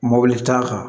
Mobili t'a kan